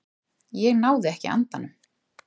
Ég náði ekki andanum.